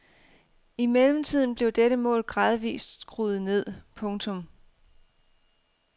I mellemtiden blev dette mål gradvist skruet ned. punktum